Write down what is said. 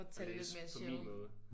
At tage det lidt mere chill